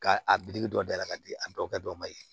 K'a a dɔ dayɛlɛ k'a di a bɛɛ kɛ dɔ ma ye